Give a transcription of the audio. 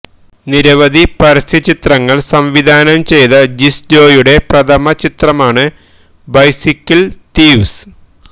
നിരവധി പരസ്യചിത്രങ്ങള് സംവിധാനം ചെയ്ത ജിസ്ജോയിയുടെ പ്രഥമ ചിത്രമാണ് ബൈസിക്കിള് തീവ്സ്